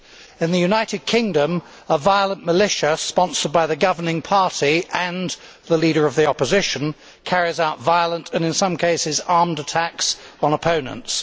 In the United Kingdom, a violent militia sponsored by the governing party and the Leader of the Opposition carries out violent and, in some cases, armed attacks on opponents.